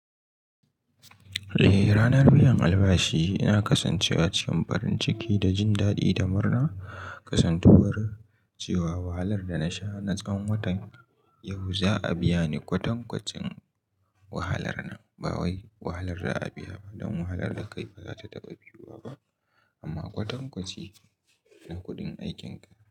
Eh, ranar biyan albashi ina kasancewa cikin farin ciki da jin daɗi da murna. Kasantuwar cewa wahalar da na sha na tsawon watan, yau za a biya ni kwatankwacin wahalar nan. Ba wai wahalar da za a biya ba, don wahalar da kai ba za ta taɓa biyuwa ba, amma kwatankwaci na kuɗin aikinka.